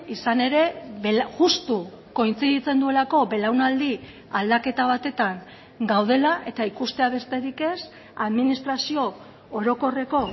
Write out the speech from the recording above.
izan ere justu kointziditzen duelako belaunaldi aldaketa batetan gaudela eta ikustea besterik ez administrazio orokorreko